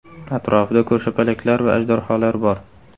Atrofida ko‘rshapalaklar va ajdarholar bor.